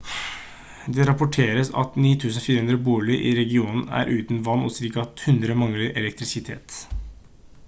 det rapporteres at 9400 boliger i regionen er uten vann og ca 100 mangler elektrisitet